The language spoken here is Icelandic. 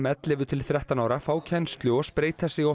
ellefu til þrettán ára fá kennslu og spreyta sig á